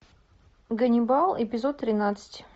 ганнибал эпизод тринадцать